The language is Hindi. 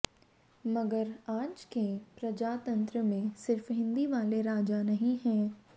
मगर आज के प्रजातंत्र में सिर्फ हिंदी वाले राजा नहीं हैं